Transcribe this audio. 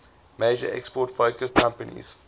major export focused companies